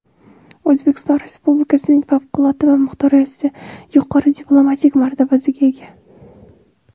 O‘zbekiston Respublikasining Favqulodda va muxtor elchisi yuqori diplomatik martabasiga ega.